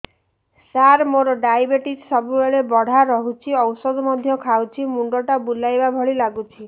ସାର ମୋର ଡାଏବେଟିସ ସବୁବେଳ ବଢ଼ା ରହୁଛି ଔଷଧ ମଧ୍ୟ ଖାଉଛି ମୁଣ୍ଡ ଟା ବୁଲାଇବା ଭଳି ଲାଗୁଛି